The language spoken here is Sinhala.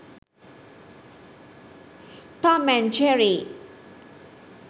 tom and jerry